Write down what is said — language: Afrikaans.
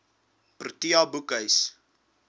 protea boekhuis